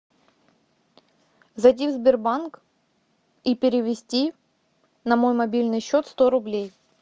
зайди в сбербанк и перевести на мой мобильный счет сто рублей